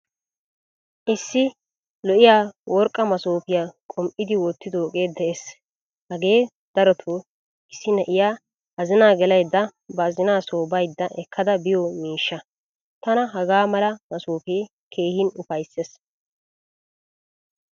Issi lo'iyaa worqqa masoppiyaa qum'idi wottidoge de'ees. Hage daroto issi na'iyaa azina gelaydda ba azina so baydda ekkada biyo miishsha. Tana hagaa mala massoppe keehin ufaysses.